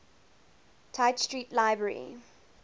tite street library